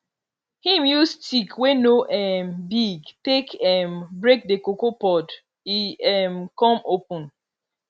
him use stick wey no um big take um break the cocoa pod e um con open